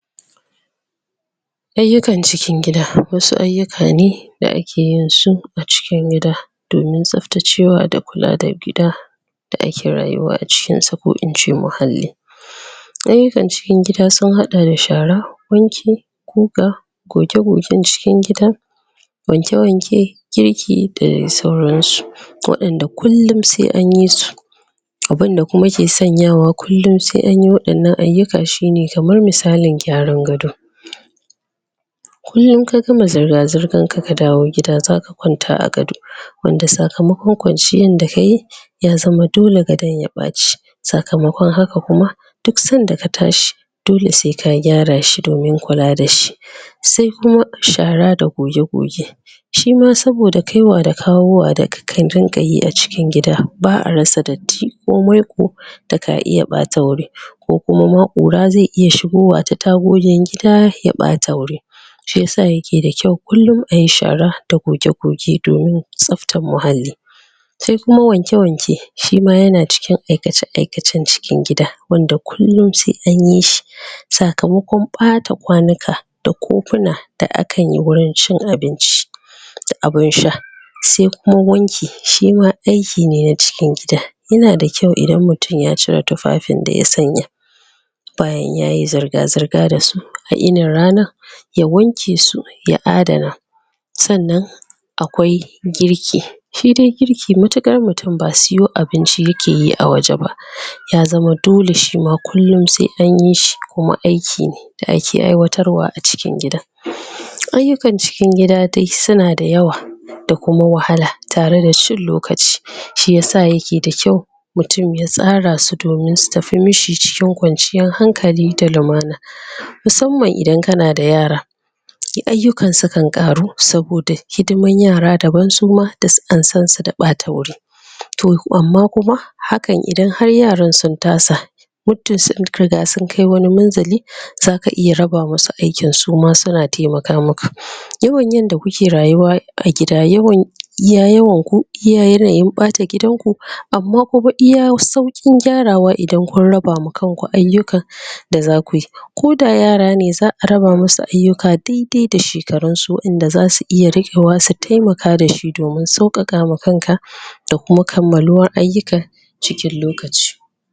Ayyukan gida wasu ayyuka ne da ake yin su a cikin gida domin tsaftacewa da kula da gida da ake rayuwa a cikinsa ko ince muhalli ayyukan cikin gida sun haɗa da shara wanki guga goge-gogen cikin gida wanke wanke girki da dai sauransu waɗanda kullum sai anyi su abunda kuma ke sanyawa kullum sai anyi irin wa'innan ayyuka shine kamar misalin gyaran gado kullum in ka gama zirga-zirgan ka ka dawo gida zaka kwanta a gado wanda sakamakon kwanciyan da kayi ya zama dole gadon ya ɓaci sakamakon haka kuma duk sanda ka tashi dole sai ka gyara shi domin kula da shi sai kuma shara da goge-goge shima saboda kaiwa da kawowa da ka rinƙa yi cikin gida ba a rasa datti ko maiƙo da aka iya ɓata wuri ko kuma ma ƙura zai iya shigowa ta tagogin gida ya ɓata wuri shiyasa yake da kyau kullum ayi shara da gog-gogr don tsaftar muhalli sai kuma wanke wanke shima yana daga cikin aikace aikacen cikin gida wanda kullum sai an yi shi sakamakon ɓata kwanuka da kofuna da akan yi wurin cin abinci da abun sha sai kuma wanki shima aiki ne na cikin gida yana da kyau idan mutum ya cier tufafin da ya sanya bayan yayi zirga zirga da su a yinin ranan ya wanke su ya adana sannan akwai girki shi dai girki matuƙar mutum ba siyo abinci yake yi a waje ba ya zama dole shima kullum sai an yi shi kuma shima aiki ne da ake aiwatarwa a cikin gida ayyukan ciki gida dai suna da yawa kuma wahala da kuma cin lokaci shiyasa yake da kyau mutum ya tsara su don su tafi mishi cikin kwanciyan hankali da lumana musamman idan kana da yara ayyukan sukan ƙaru saboda hidiman yara daban suma duk an san su da ɓata wuri to amma kuma hakan idan har yara sun tasa muddin sun riga sun kai wani munzali zaka iya raba wasu aikin su ma suna taimaka maka, yawan yanda kuke rayuwa a gida yawan iya yawan ku, iya yanayin ɓata gidanku amma kuma iya sauƙin gyarawa idan kun raba ma kan ku ayyukanda zaku yi koda yara ne za a raba musu ayyuka daidai da shekarunsu wanda zasu iya riƙewa su taimaka da shi domin ka sauƙaƙa ma kanka da kuma kammaluwan ayyuka cikin lokaci.